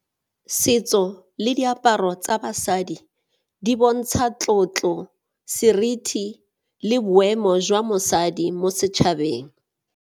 Setso le diaparo tsa basadi di bontsha tlotlo, seriti le boemo jwa mosadi mo setšhabeng.